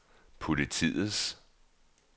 politiets